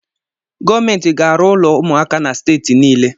Gọọmenti ga-arụ ụlọ ụmụaka na steeti niile